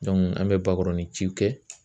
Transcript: an bɛ bakɔrɔnin ciw kɛ